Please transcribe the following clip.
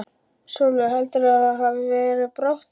Sölvi: Heldurðu að það hafi verið of bratt hjá þér?